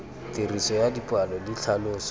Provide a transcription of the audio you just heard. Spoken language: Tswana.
tiriso ya dipalo le tlhaloso